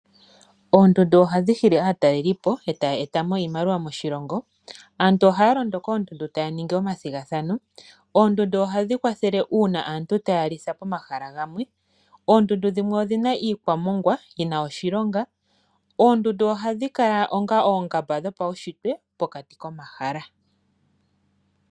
Oondundu odhasimana oshoka ohadhi nana aataleli mboka hayeeta iimaliwa moshilongo. Aantu ohaalondo koondundu taya ningi omathigathano, odhili woo hadhi kwathele aantu uuna taya litha komahala gamwe. Oondundu dhimwe odhina iikwamogwa ndjoka yina oshilonga noonkondo, dho odhili woo onga oongamba dhopaushitwe pokati komahala.